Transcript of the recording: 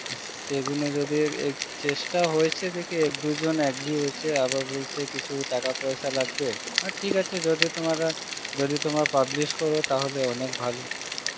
আর সে গুনো যদি চেষ্ঠা হয়েছে দেখে একদুজন agree হয়েছে আবার বলছে কি কিছু টাকা পয়েশা লাগবে, আর ঠিক আছে যদি তোমারা, যদি তোমরা publish কর তাহলে অনেক ভালো